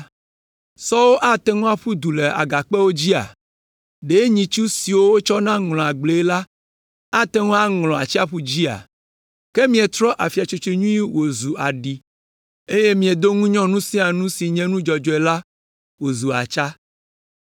Sɔwo ate ŋu aƒu du le agakpewo dzia? Ɖe nyitsu siwo wotsɔna ŋlɔa agblee la ate ŋu aŋlɔ atsiaƒu dzia? Ke mietrɔ afia nyui tsotso wòzu aɖi, eye miedo ŋunyɔ nu sia nu si nye nu dzɔdzɔe la wòzu atsa.